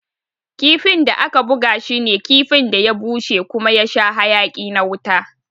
Kifin da aka buga shi ne kifin da ya bushe kuma ya sha hayaki na wuta.